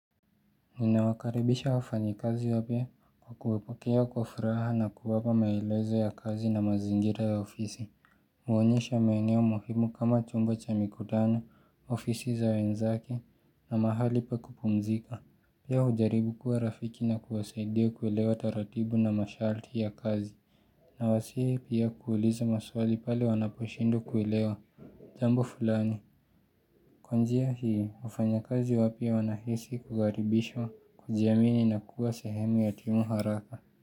Ninawakaribisha wafanyikazi wapya kwa kuwwapokea kwa furaha na kuwapa maelezo ya kazi na mazingira ya ofisi Muonyeshe maeneo muhimu kama chumba cha mkutano, ofisi za wenzake na mahali pa kupumzika. Pia ujaribu kuwa rafiki na kuwasaidia kuelewa taratibu na masharti ya kazi Nawasihi pia kuuliza maswali pale wanaposhindwa kuelewa jambo fulani. Kwa njia hii, wafanyikazi wapya wanahisi kukaribishwa kujiamini na kuwa sehemu ya timu haraka.